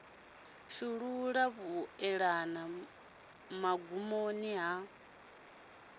shulula ḽa vhuelela mugumoni wa